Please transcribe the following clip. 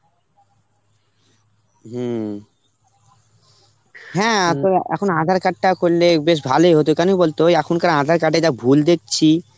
হম. হ্যাঁ এখন এখন aadhar card টা করলে বেশ ভালই হতো, কেন বল তো এখনকার aadhar card এ যা ভুল দেখছি